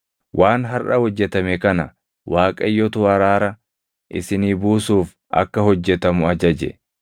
Waan harʼa hojjetame kana Waaqayyotu araara isinii buusuuf akka hojjetamu ajaje.